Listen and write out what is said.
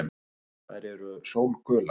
Þær eru sólgular.